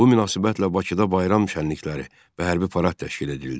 Bu münasibətlə Bakıda bayram şənlikləri və hərbi parad təşkil edildi.